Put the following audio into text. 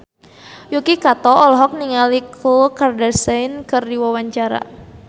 Yuki Kato olohok ningali Khloe Kardashian keur diwawancara